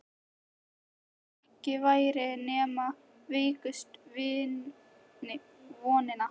Jafnvel þótt ekki væri nema veikustu vonina.